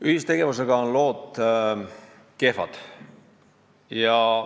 Ühistegevusega on kehvad lood.